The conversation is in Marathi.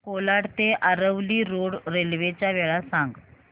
कोलाड ते आरवली रोड रेल्वे च्या वेळा सांग